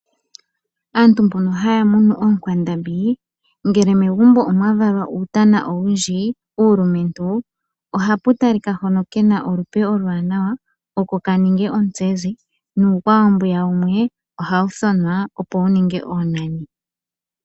Aantu mbono hayamunu oonkwandambi ngele megumbo omwa valwa uutana owundji uulumentu, ohapu talikwa hono kena olupe oluwanawa oko kaninge ontsezi nuukwawo mbwiya wumwe ohawu thonwa opo wuninge oonani.